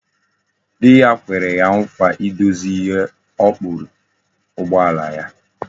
Di ya kwere ya nkwa idozi ihe okpuri ụgbọala ya